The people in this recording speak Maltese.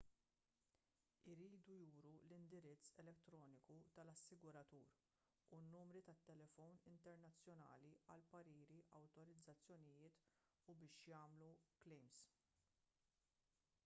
iridu juru l-indirizz elettroniku tal-assiguratur u n-numri tal-telefon internazzjonali għall-pariri/awtorizzazzjonijiet u biex jagħmlu l-klejms